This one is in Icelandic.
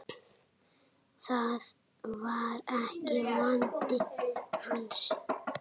Það var ekki vandi hans.